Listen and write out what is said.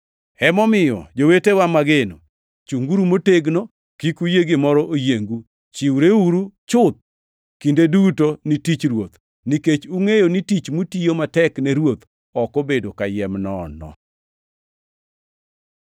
Emomiyo, jowetena mageno, chunguru motegno. Kik uyie gimoro oyiengu. Chiwreuru chuth kinde duto ni tich Ruoth, nikech ungʼeyo ni tich mutiyo matek ne Ruoth ok obedo kayiem nono.